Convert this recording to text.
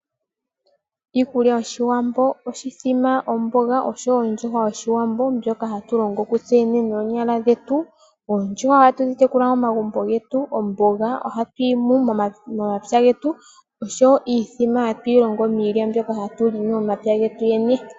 Iikulya yoshiwambo oshithima omboga oshowo ondjuhwa yoshiwambo ndjoka hatu longo kutseyene noonyala dhetu .oondjuhwa ohatu dhi tekula momagumbo getu . Omboga ohatu yimu momapya getu oshowo iithima mbyoka hatuyi longo miilya mbyoka hatu longo momapya getu .